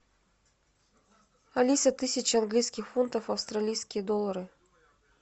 алиса тысяча английских фунтов в австралийские доллары